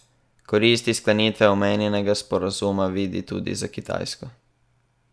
Koristi sklenitve omenjenega sporazuma vidi tudi za Kitajsko.